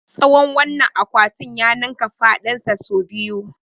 Tsawon wannan akwatin ya ninka faɗinsa sau biyu.